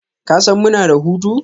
Kasan muna da hutu?